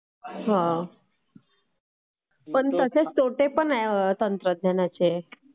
हा...पण तसे तोटेपण आहेत तंत्रज्ञानाचे..